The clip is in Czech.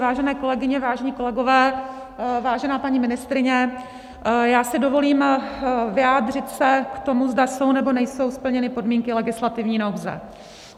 Vážené kolegyně, vážení kolegové, vážená paní ministryně, já si dovolím vyjádřit se k tomu, zda jsou, nebo nejsou splněny podmínky legislativní nouze.